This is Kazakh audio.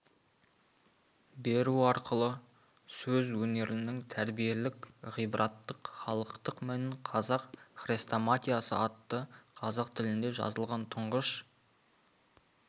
беру арқылы сөз өнерінің тәрбиелік ғибраттық халықтық мәнін қазақ хрестоматиясы атты қазақ тілінде жазылған тұңғыш